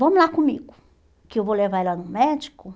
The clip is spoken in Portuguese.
Vamos lá comigo, que eu vou levar ela no médico